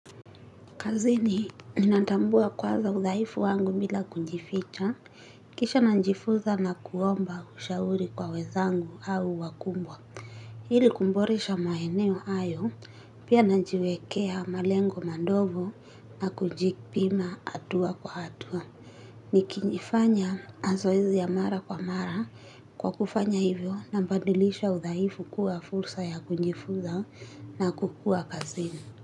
Kazini, ninatambua kwaza uthaifu wangu bila kujificha, kisha na njifuza na kuomba ushauri kwa wezangu au wakumbwa. Hili kumboresha maeneo hayo, pia najiwekea malengo mandogo na kunjipima hatua kwa hatua. Ni kijifanya mazoezi ya mara kwa mara kwa kufanya hivyo na badilisha uthaifu kuwa fursa ya kujifuza na kukua kazini.